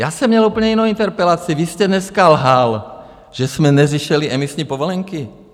Já jsem měl úplně jinou interpelaci, vy jste dneska lhal, že jsme neřešili emisní povolenky.